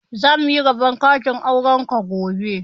Za muyi dab'in katin auren ku gobe